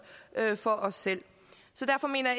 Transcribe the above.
for os selv derfor mener